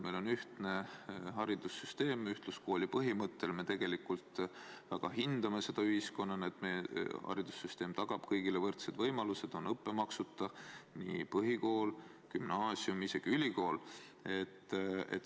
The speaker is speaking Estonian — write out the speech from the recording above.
Meil on ühtne haridussüsteem, mis toimib ühtluskooli põhimõttel, ja me tegelikult väga hindame ühiskonnana seda, et meie haridussüsteem tagab kõigile võrdsed võimalused: õppemaksuta on põhikool, gümnaasium ja isegi ülikool.